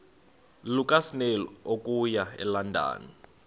lukasnail okuya elondon